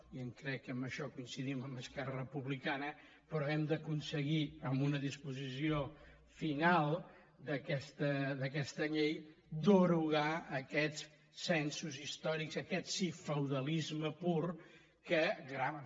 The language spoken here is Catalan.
i crec que en això coincidim amb esquerra republicana però hem d’aconseguir amb una disposició final d’aquesta llei derogar aquests censos històrics aquest sí feudalisme pur que grava